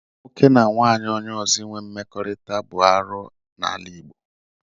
Nwoke na nwunye onye ọzọ inwe mmekọahụ bụ arụ n'ala Igbo.